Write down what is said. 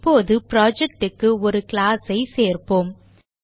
இப்போது project க்கு ஒரு class ஐ சேர்ப்போம்